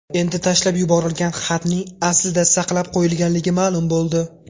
Endi tashlab yuborilgan xatning aslida saqlab qo‘yilganligi ma’lum bo‘ldi.